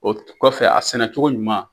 O kɔfɛ a sɛnɛ cogo ɲuman.